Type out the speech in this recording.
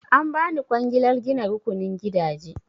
An ba ni kwangilar gina rukunin gidaje.